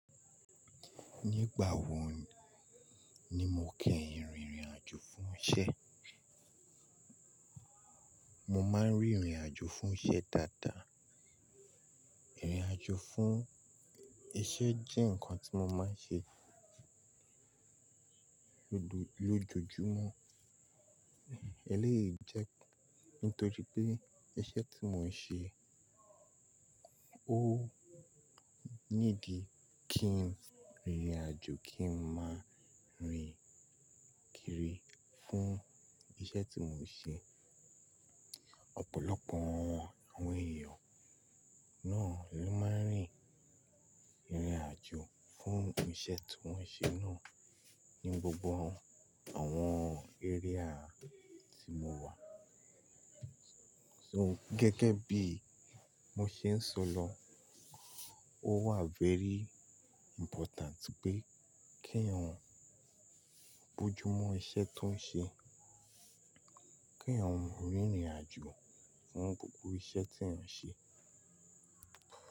Nígbà wo ni mo kí ìrìn ìrìnàjò fún iṣẹ́? Mo máa ń rìnrìnàjò fún iṣẹ́ dáadáa. Ìrìnàjò fún iṣẹ́ jẹ́ nǹkan tí mo máa ń ṣe lójoojúmọ́. Eléyìí jẹ́ nítorí pé iṣẹ́ tí mò ń ṣe ó nídi kí n rìnrìnàjò kí n máa rìn kiri fún iṣẹ́ tí mò ń ṣe. Ọ̀pọ̀lọpọ̀ àwọn èèyàn náà ló máa ń rìnrìnàjò fún iṣẹ́ tí wọ́n ṣe náà ní gbogbo àwọn area tí mo wà. So gẹ́gẹ́ bí mo ṣe ń sọ lọ, ó wà very important pé kí ọ̀un bojúmọ́ iṣẹ́ tó ń ṣe, kí eeyan rìnrìnàjò fún gbogbo iṣẹ́ tí ọ̀un ṣe.